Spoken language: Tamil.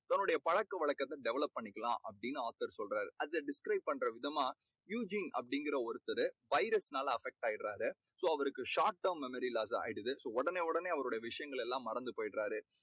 அவருடைய பழக்க வழக்கத்தை develop பண்ணிக்கலாம் அப்படீன்னு author சொல்றாரு. அதை describe பண்ற விதமா அப்பிடீங்கற ஒருத்தரு virus னால affect ஆயிடறாரு. so அவருக்கு short term memory loss ஆயிடுது. so உடனே உடனே அவருடைய விஷயங்கள் எல்லாம் மறந்து போய்டறாரு.